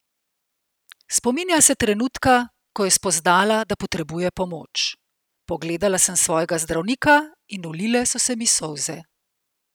Spominja se trenutka, ko je spoznala, da potrebuje pomoč: "Pogledala sem svojega zdravnika in ulile so se mi solze.